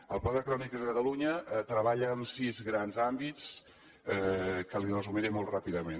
el pla de crònics a catalunya treballa en sis grans àmbits que li resumiré molt ràpidament